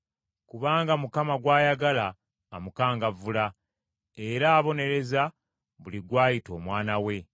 Kubanga Mukama gw’ayagala amukangavvula, Era abonereza buli gw’ayita omwana we.”